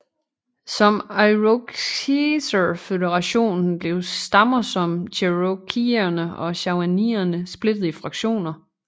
Som irokeserføderationen blev stammer som cherokeerne og shawneerne splittet i fraktioner